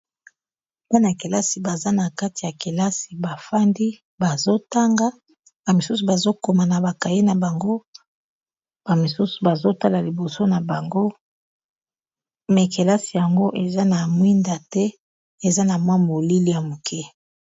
bana-kelasi baza na kati ya kelasi bafandi bazotanga bamisusu bazokoma na bakaye na bango bamisusu bazotala liboso na bango mais kelasi yango eza na mwinda te eza na mwa molili ya moke